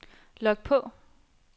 log på